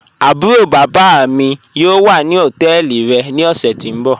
Àbúró bábá mí mí yóò wà ní ọtẹ́ẹlí rẹ̀ ní ọ̀ṣẹ̀ tí n bọ̀.